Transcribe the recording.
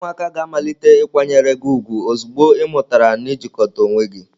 Ụmụaka ga-amalite ịkwanyere gị ugwu ozugbo ị mụtara n ị jikota onwe gị.